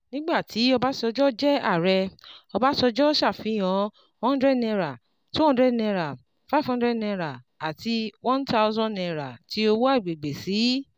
Nigba ti Obasanjo jẹ aarẹ, Obasanjo ṣafihan hundred naira two hundred naira five hundred naira, ati one thousand naira ti owo agbegbe si